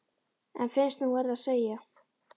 En finnst hún verða að segja: